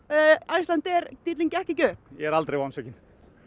Icelandair díllinn gekk ekki upp ég er aldrei vonsvikinn